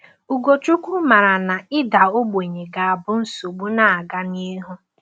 Ugochukwu maara na ịda ogbenye ga-abụ nsogbu na-aga n’ihu.